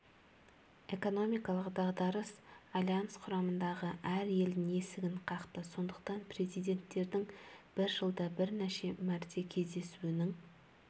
экономикалық дағдарыс альянс құрамындағы әр елдің есігін қақты сондықтан президенттердің бір жылда бірнеше мрте жүздесуінің